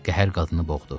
Qəhər qadını boğdu.